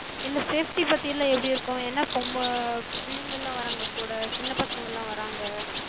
இல்ல safety பத்தில்லா எப்டி இருக்கு? ஏனா அஹ் பிள்ளைங்கல்லா வராங்க கூட, சின்னப் பசங்கல்லா வராங்க.